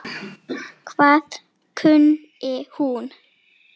Hvað kunni hún?